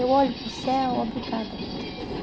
Eu olho para o céu, obrigada, meu Deus.